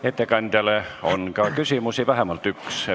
Ettekandjale on ka küsimusi, vähemalt üks.